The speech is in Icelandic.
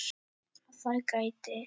Að það gæti.